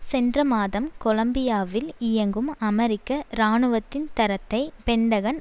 சென்ற மாதம் கொலம்பியாவில் இயங்கும் அமெரிக்க இராணுவத்தின் தரத்தை பென்டகன்